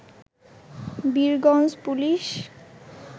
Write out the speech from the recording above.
Birganj police